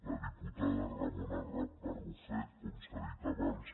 la diputada ramona barrufet com s’ha dit abans